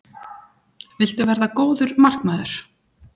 Viltu verða góður markmaður?